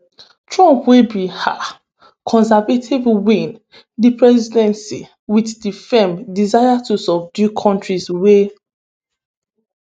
trump wey be um conservative win di presidency wit di firm desire to subdue kontris wey